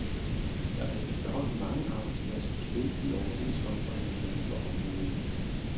Der er efterhånden mange arbejdspladser på spil i overenskomstforhandlingerne for området.